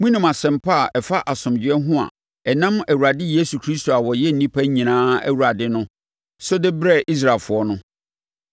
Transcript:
Monim asɛmpa a ɛfa asomdwoeɛ ho a ɛnam yɛn Awurade Yesu Kristo a ɔyɛ nnipa nyinaa Awurade no so de brɛɛ Israelfoɔ no.